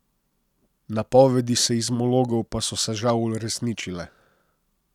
Napovedi seizmologov pa so se žal uresničile.